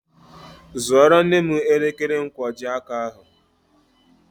Zụoro nne m elekere nkwojiaka ahụ